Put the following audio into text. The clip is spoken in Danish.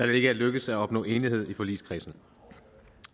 det ikke er lykkedes at opnå enighed i forligskredsen